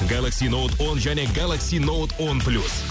галакси ноуд он және галакси ноуд он плюс